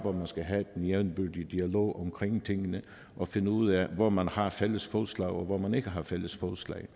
skal have den jævnbyrdige dialog omkring tingene og finde ud af hvor man har fælles fodslag og hvor man ikke har fælles fodslag